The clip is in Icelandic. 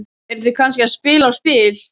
Eru þau kannski að spila á spil?